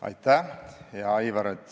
Aitäh, hea Aivar!